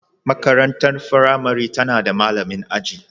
Makarantar firamare tana da malamin aji